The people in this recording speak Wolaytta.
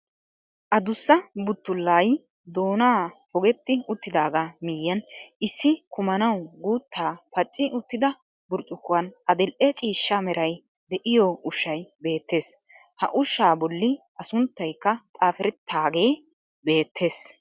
Adussa buttullay doonaa pogetti uttidaagaa miyyiyan issi kumanawu guuttaa pacci uttida burccukkuwan aadil''e ciishsha meray de'iyo ushshay beettees. Ha ushshaa bolli a sunttaykka xaafrttaagee beettes.